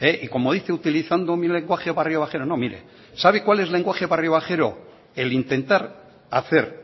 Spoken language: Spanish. y como dice utilizando mi lenguaje barriobajero no miré sabe cuál es el lenguaje barriobajero el intentar hacer